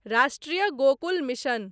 राष्ट्रीय गोकुल मिशन